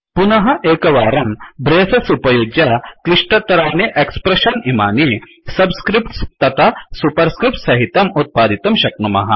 पुनः एकवारं ब्रेसस् उपयुज्य क्लिष्टराणि एक्स्प्रेश्शन्स् इमानि सब्स्क्रिफ्ट्स् तथा सुपर्स्क्रिफ्ट्स् सहितम् उत्पादितुं शक्नुमः